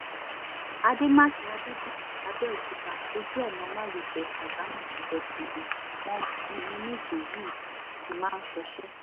àdèmàkè adébíyí àbẹ̀òkúta ojú ọ̀nà márosẹ̀ ṣàgámù-ìjẹ́bú-ọdẹ làwọn ọkùnrin méje yìí ti máa ń ṣọṣẹ́